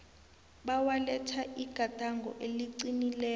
bewaletha igadango eliqinileko